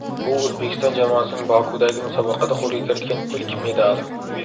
Bu O‘zbekiston jamoasining Bokudagi musobaqada qo‘lga kiritgan ilk medali.